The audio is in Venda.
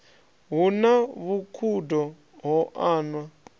hu na vhukhudo ho anwa